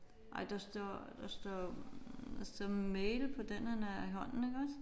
Nej der står der står der står mail på den han har i hånden iggås